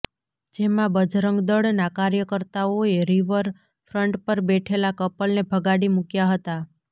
જેમાં બજરંગદળના કાર્યકર્તાઓએ રિવર ફ્રન્ટ પર બેઠેલા કપલને ભગાડી મૂક્યા હતા